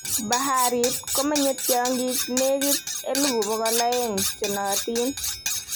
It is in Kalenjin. Baharit komenyei tyong'ik negit 200,000 chenootin